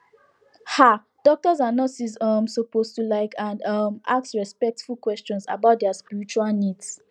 um doctors and nurses um suppose to like and um ask respectful questions about dia spiritual needs